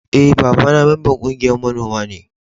E,baba na memban ƙungiyan manomi ne.